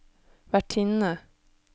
vertinne